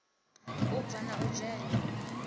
u bva na u dzhena